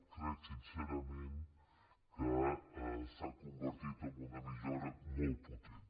crec sincerament que s’ha convertit en una millora molt potent